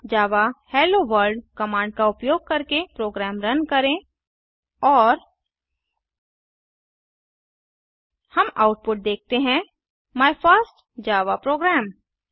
अब Java hello world command का उपयोग करके प्रोग्राम रन करें और हम आउटपुट देखते हैं माय फर्स्ट जावा program